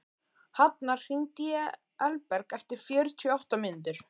Hafnar, hringdu í Elberg eftir fjörutíu og átta mínútur.